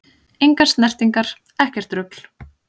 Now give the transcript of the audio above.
Engar snertingar, ekkert rugl!